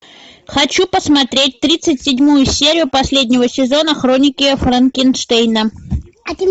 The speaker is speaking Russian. хочу посмотреть тридцать седьмую серию последнего сезона хроники франкенштейна